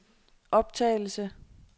optagelse